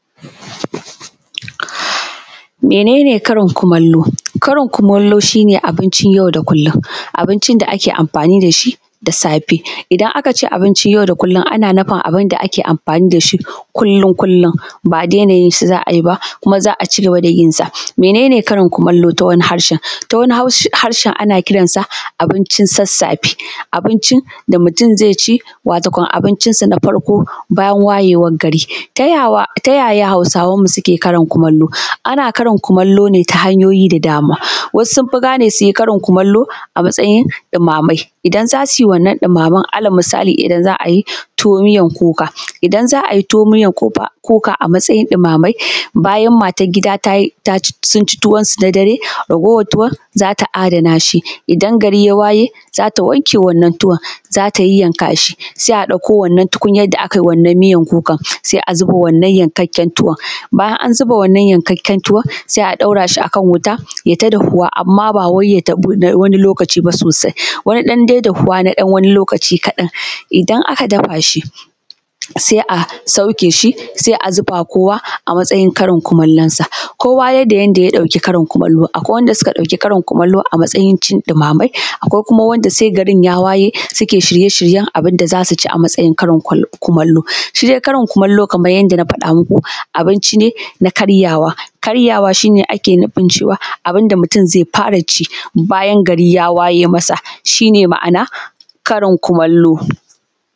Me nene karin kumallo? Karin kumallo shi ne abincin yau da kullum, abincin da ake amfani dashi da safe, idan aka ce abincin yau da kullum ana nufin abun da ake amfani dashi kullum kullum, ba daina yin shi za ayi ba kuma za a cigaba da yin sa. Me nene karin kumallo ta wani harshen? ta wani harshen ana kiran sa abincin sassafe, abincin da mutum zai ci, wato kam abincin san a farko bayan wayewar gari. Ta yaya hausawan mu suke karin kumallo? ana karin kumallo ne ta hanyoyi da dama, wasu sun fi gane suyi karin kumallo a matsayin ɗumame, idan zasuyi wannan ɗumamen, alal misali idan za a yi tuwo miyan kuka, idan za ayi tuwo miyan kuka a matsayin ɗumame, bayan matar gida sun ci tuwon sun a dare, ragowar tuwon zata adana shi, idan gari ya waye zata wanke wannan tuwon, zata yayyaka shi, sai a ɗauko wannan tukunyar da aka yi wannan miyar kukar, sai a zuba wannan yankakken tuwon, bayan an zuba wannan yankakken tuwon, sai a ɗaura shi akan wuta yayi ta dahuwa, amma ba wai ya dahu na wani lokaci ba sosai, wani ɗan dai dahuwa na ɗan wani lokaci kaɗan. Idan aka dafa shi, sai a sauke shi, sai a zubawa kowa a matsayin karin kumallon sa, kowa yanda ya ɗauki karin kumallo, akwai wanda suka ɗauki Karin kumallo a matsayin cin ɗumame, akwai kuma wanda sai garin ya wayesuke shiye-shiyen abun da zasu ci a matsayin karin kumallo. Shi dai Karin kumallo kamar yanda na faɗa muku, abinci ne na karyawa, karyawa shine ake nufin cewa abun da mutum zai fara ci bayan gari yaw aye masa, shi ne ma’ana.